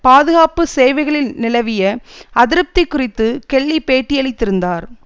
பாதுகாப்பு சேவைகளில் நிலவிய அதிருப்தி குறித்து கெல்லி பேட்டியளித்திருந்தார்